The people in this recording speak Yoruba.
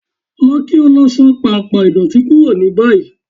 Lọ kí o lọ só pàmpá ìdọ́tì kúrò ní báyì